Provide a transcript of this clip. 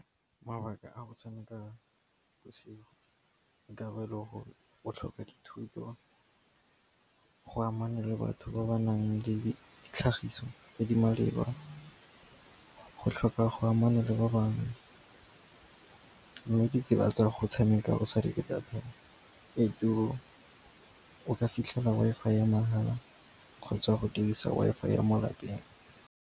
Mabaka a go tshameka bosigo, dikabelo gore o tlhoka dithuto, go amana le batho ba ba nang le ditlhagiso tse di maleba, go tlhoka go amana le ba bangwe, mme ditsela tsa go tshameka o sa reke data e turu, o ka fitlhela Wi-Fi ya mahala kgotsa go dirisa Wi-Fi ya mo lapeng.